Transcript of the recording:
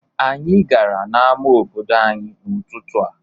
Anyị gara n'ama obodo anyị n'ụtụtụ a.